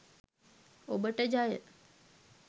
ඔබට ජය